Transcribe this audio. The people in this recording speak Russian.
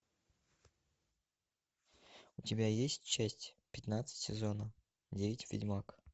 у тебя есть часть пятнадцать сезона девять ведьмак